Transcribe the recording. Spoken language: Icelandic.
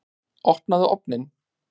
Opnaðu ofninn!